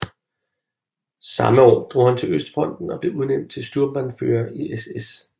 Samme år drog han til østfronten og blev udnævnt til Sturmbannführer i SS